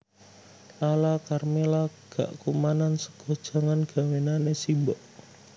Lala Karmela gak kumanan sega jangan gawenane simbok